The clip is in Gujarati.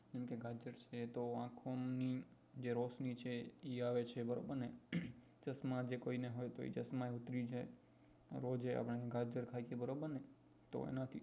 છે તો આંખોની જે રોશની છે તે આવે છે બરોબર ને ચશ્માં જે કોઈને હોય તો એ ચશ્માં ઉતરી જાય રોજ થાય છે બરોબર ને તો એ